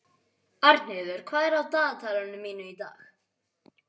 Arnheiður, hvað er í dagatalinu mínu í dag?